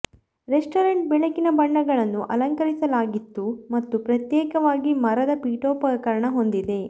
restaurant ಬೆಳಕಿನ ಬಣ್ಣಗಳನ್ನು ಅಲಂಕರಿಸಲಾಗಿತ್ತು ಮತ್ತು ಪ್ರತ್ಯೇಕವಾಗಿ ಮರದ ಪೀಠೋಪಕರಣ ಹೊಂದಿದೆ